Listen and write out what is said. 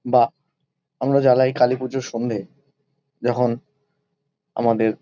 বাঃ আমরা জ্বালাই কালী পুজোর সন্ধ্যেয় যখন আমাদের--